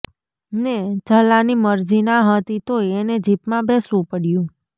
ને ઝલાંની મરજી ના હતી તોય એને જીપમાં બેસવું પડ્યું